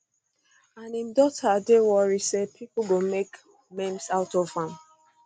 and im daughter dey worry say pipo go um make memes out of am